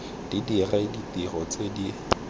di dire ditiro tse di